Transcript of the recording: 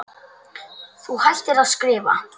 Þú hættir að skrifa.